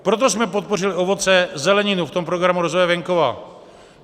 Proto jsme podpořili ovoce, zeleninu v tom Programu rozvoje venkova.